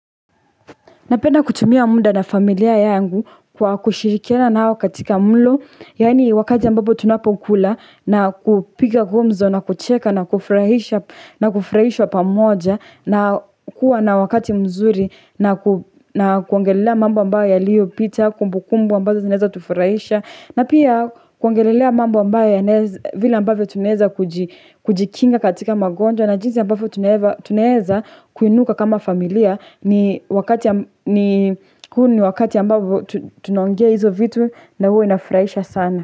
Napenda kutumia muda na familia yangu kwa kushirikiana nao katika mlo. Yaani wakati ambapo tunapokula na kupiga gumzo na kucheka na kufurahisha na kufurahishwa pamoja. Na kuwa na wakati mzuri na kuongelelea mambo ambayo yaliyopita, kumbukumbu ambazo zinaweza tufurahisha. Na pia kuongelelea mambo ambayo vile ambavyo tunaweza kujikinga katika magonjwa. Na jinsi ambavyo tunaweza kuinuka kama familia ni wakati ni wakati ambavo tunaongea hizo vitu na huwa inafurahisha sana.